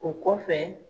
O kɔfɛ